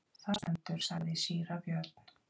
Þar stendur, sagði síra Björn.